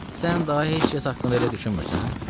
Sən daha heç kəs haqqında elə düşünmürsən?